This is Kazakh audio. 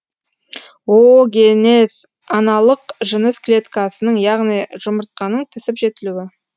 оогенез аналық жыныс клеткасының яғни жұмыртқаның пісіп жетілуі